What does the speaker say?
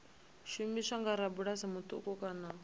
shumiswa nga rabulasi muṱuku kana